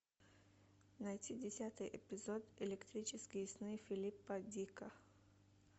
найти десятый эпизод электрические сны филипа к дика